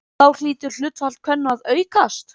Þá hlýtur hlutfall kvenna að aukast!